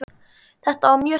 Þetta var mjög sterkt.